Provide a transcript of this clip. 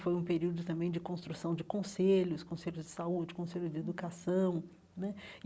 Foi um período também de construção de conselhos, conselho de saúde, conselho de educação né.